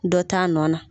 Dɔ t'a nɔ na